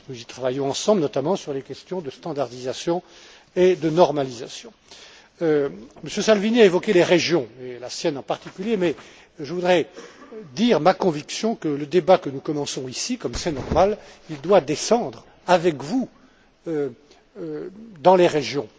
Nous y travaillons ensemble, notamment sur les questions de standardisation et de normalisation. M. Salvini a évoqué les régions et la sienne en particulier, mais je voudrais dire ma conviction que le débat que nous commençons ici, comme c'est normal, doit descendre avec vous, dans les régions.